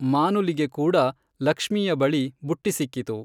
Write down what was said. ಮಾನುಲಿಗೆ ಕೂಡ ಲಕ್ಷ್ಮೀಯ ಬಳಿ ಬುಟ್ಟಿ ಸಿಕ್ಕಿತು.